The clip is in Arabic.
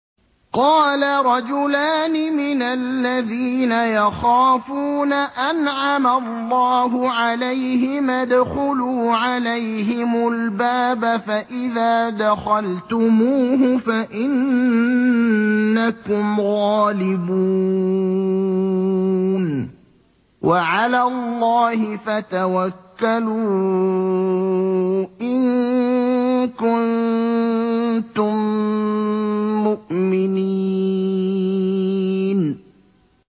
قَالَ رَجُلَانِ مِنَ الَّذِينَ يَخَافُونَ أَنْعَمَ اللَّهُ عَلَيْهِمَا ادْخُلُوا عَلَيْهِمُ الْبَابَ فَإِذَا دَخَلْتُمُوهُ فَإِنَّكُمْ غَالِبُونَ ۚ وَعَلَى اللَّهِ فَتَوَكَّلُوا إِن كُنتُم مُّؤْمِنِينَ